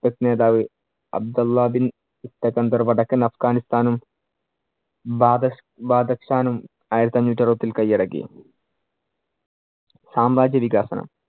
നേതാവ് അബ്ദുലാബിൻ വടക്കൻ അഫ്ഘാനിസ്ഥാനും, ആയിരത്തിയഞ്ഞൂറ്റി അറുപതിൽ കയ്യടക്കി. സാമ്രാജ്യവികാസനം